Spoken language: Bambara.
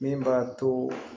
Min b'a to